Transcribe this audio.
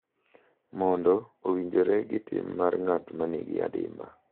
Mondo owinjore gi tim mar ng’at ma nigi adimba.